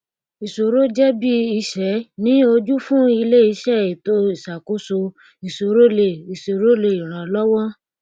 ìṣòro jẹ bí ìṣẹ ni ojú fún ilé iṣẹ ètò ìṣàkóso ìṣòro lè ìṣòro lè ràn lọwọ